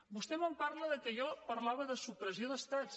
vostè em parla que jo parlava de supressió d’estats